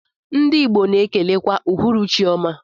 Ndi igbo na ekelekwa uhuruchi ọma.